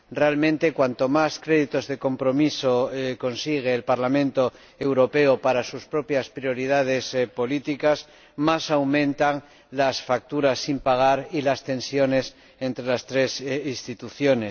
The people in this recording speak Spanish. Realmente, cuanto más créditos de compromiso consigue el Parlamento Europeo para sus propias prioridades políticas, más aumentan las facturas sin pagar y las tensiones entre las tres instituciones.